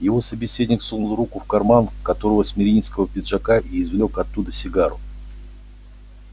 его собеседник сунул руку в карман короткого смирнийского пиджака и извлёк оттуда сигару